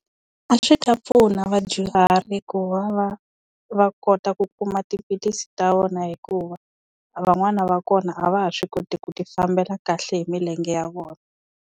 A swi ta pfuna vadyuhari ku va va, va kota ku kuma tiphilisi ta vona hikuva, van'wana va kona a va ha swi koti ku ti fambela kahle hi milenge ya vona.